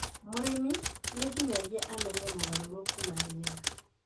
Mũrĩmi nĩ nginyagia amenye mogarũrũku ma rĩera